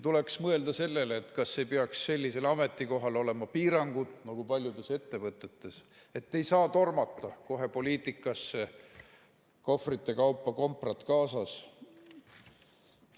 Tuleks mõelda sellele, kas ei peaks sellisel ametikohal olema piirangud, nagu paljudes ettevõtetes, et ei saa tormata kohe poliitikasse, kohvrite kaupa komprat kaasas.